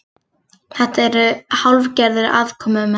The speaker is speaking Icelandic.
Þetta eru hálfgerðir aðkomumenn